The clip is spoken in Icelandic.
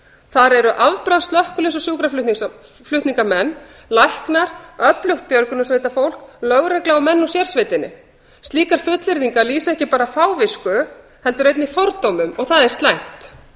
þar eru afbragðs slökkviliðs og sjúkraflutningsmenn læknar öflugt björgunarsveitarfólk lögregla og menn úr sérsveitinni slíkar fullyrðingar lýsa ekki bara fávisku heldur einnig fordómum og það er slæmt